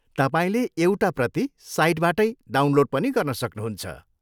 तपाईँले एउटा प्रति साइटबाटै डाउनलोड पनि गर्न सक्नुहुन्छ।